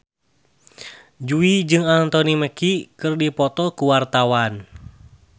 Jui jeung Anthony Mackie keur dipoto ku wartawan